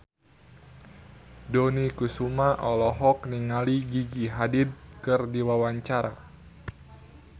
Dony Kesuma olohok ningali Gigi Hadid keur diwawancara